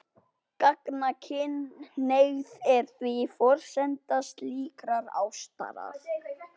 Gagnkynhneigð er því forsenda slíkrar ástar.